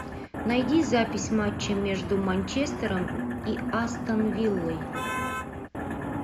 найди запись матча между манчестером и астон виллой